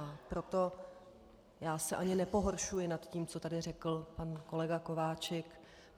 A proto já se ani nepohoršuji nad tím, co tady řekl pan kolega Kováčik.